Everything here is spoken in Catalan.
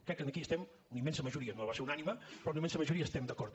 crec que aquí estem una immensa majoria no va ser unànime però una immensa majoria hi estem d’acord